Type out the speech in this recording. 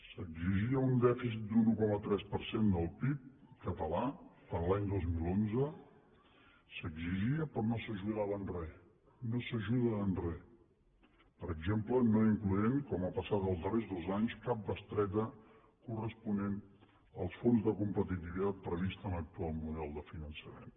s’exigia un dèficit d’un un coma tres per cent del pib català per a l’any dos mil onze s’exigia però no s’ajudava en re no s’ajuda en re per exemple no incloent com ha passat els darrers dos anys cap bestreta corresponent als fons de competitivitat prevists a l’actual model de finançament